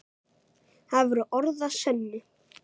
Það voru orð að sönnu.